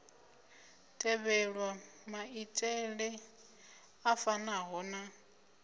tevhelwa maitele a fanaho na